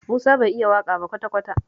Musa bai iya waƙa ba kwata-kwata